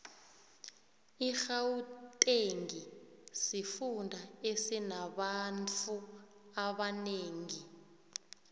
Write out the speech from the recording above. irhawutengi sifunda esinabanfu abanengi